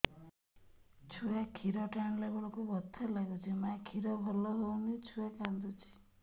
ଛୁଆ ଖିର ଟାଣିଲା ବେଳକୁ ବଥା ଲାଗୁଚି ମା ଖିର ଭଲ ହଉନି ଛୁଆ କାନ୍ଦୁଚି